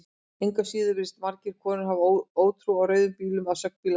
Engu að síður virðast margar konur hafa ótrú á rauðum bílum að sögn bílasala.